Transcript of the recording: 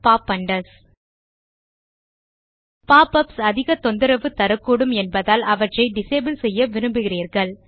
pop ups அதிக தொந்தரவு தரக்கூடும் என்பதால் அவற்றை டிசபிள் செய்ய விரும்புகிறீர்கள்